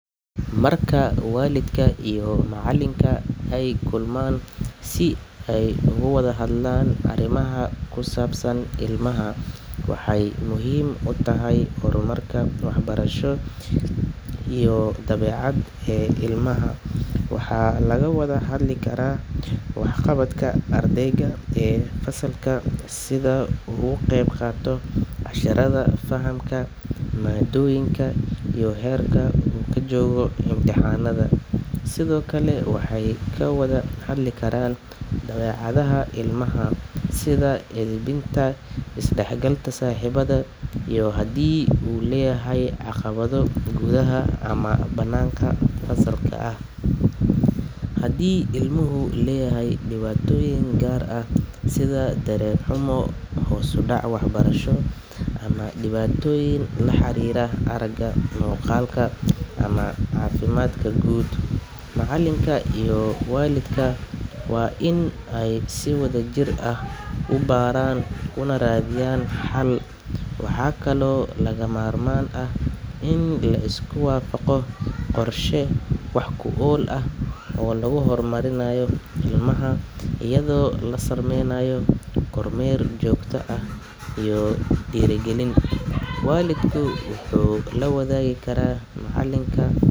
Marka waalidka iyo macallinka ay kulmaan si ay uga wada hadlaan arrimaha ku saabsan ilmaha, waxay muhiim u tahay horumarka waxbarasho iyo dabeecadeed ee ilmaha. Waxaa laga wada hadli karaa waxqabadka ardayga ee fasalka, sida uu uga qayb qaato casharrada, fahamka maaddooyinka iyo heerka uu ka joogo imtixaanada. Sidoo kale, waxay ka wada hadli karaan dabeecadda ilmaha, sida edbinta, isdhexgalka saaxiibada, iyo haddii uu leeyahay caqabado gudaha ama banaanka fasalka ah. Haddii ilmuhu leeyahay dhibaatooyin gaar ah sida dareen xumo, hoos u dhac waxbarasho ama dhibaatooyin la xiriira aragga, maqalka ama caafimaadka guud, macallinka iyo waalidka waa in ay si wadajir ah u baaraan una raadiyaan xal. Waxaa kaloo lagama maarmaan ah in la isku waafaqo qorshe wax-ku-ool ah oo lagu horumarinayo ilmaha, iyadoo la samaynayo kormeer joogto ah iyo dhiirrigelin. Waalidka wuxuu la wadaagi karaa macallinka.